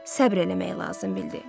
səbr eləmək lazım bildi.